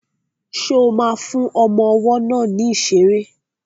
Ṣo ma fún ọmọ ọwọ́ náà ní ìṣeré?